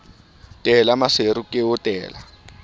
tela maseru ke ho tela